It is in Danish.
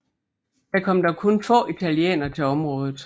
Der kom dog kun få italienere til området